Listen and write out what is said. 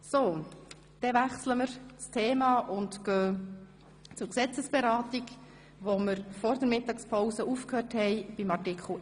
Somit wechseln wir das Thema und fahren mit der Gesetzesberatung fort, die wir vor der Mittagspause nach Artikel 11 unterbrochen haben.